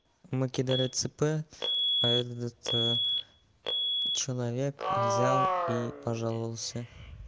накидали цп а этот человек взял и пожаловался